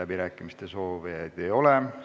Kõnesoovijaid ei ole.